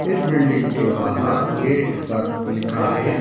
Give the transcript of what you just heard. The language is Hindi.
इस बिल्डिंग के बाहर गेट पर लिखा है।